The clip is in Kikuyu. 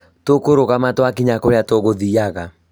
Tũkũrugama twakinya kũrĩa tũgũthiaga